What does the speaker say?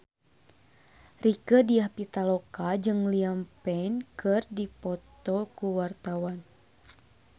Rieke Diah Pitaloka jeung Liam Payne keur dipoto ku wartawan